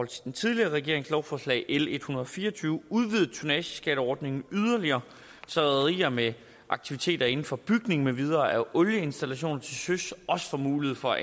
til den tidligere regerings lovforslag l en hundrede og fire og tyve udvidet tonnageskatteordningen yderligere så rederier med aktiviteter inden for bygning med videre af olieinstallationer til søs også får mulighed for